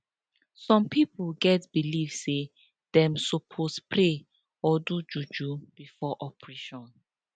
some pipo get belief say dem sopose pray or do juju before operation